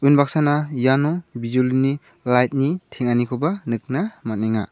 unbaksana iano bijolini lait ni teng·anikoba nikna man·enga.